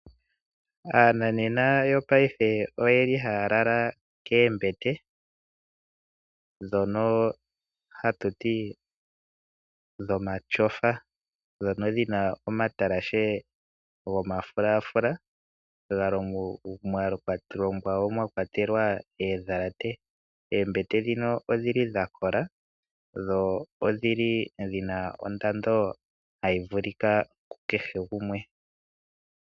Aananena yopaife oye li haya lala koombete dhono dhomatyofa dhono dhina omatalashe gomafulafula, ga longwa woo mwa kwatelwa oondhalate. Oombete ndhino odhi li dha kola dho odhi na ondando hayi vulika kukehe gumwe.